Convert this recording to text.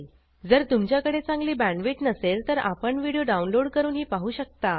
जर तुमच्याकडे चांगली बॅण्डविड्थ नसेल तर आपण व्हिडिओ डाउनलोड करूनही पाहू शकता